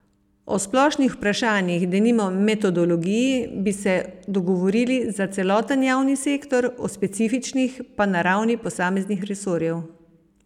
O splošnih vprašanjih, denimo metodologiji, bi se dogovorili za celoten javni sektor, o specifičnih pa na ravni posameznih resorjev.